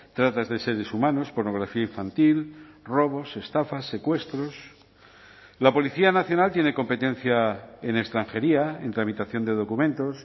tratas de seres humanos pornografía infantil robos estafas secuestros la policía nacional tiene competencia en extranjería en tramitación de documentos